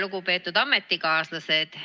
Lugupeetud ametikaaslased!